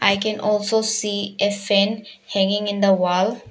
I can also see a fan hanging in the wall.